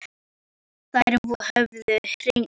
Þær höfðu hreinlega horfið úr vörslu Lárusar.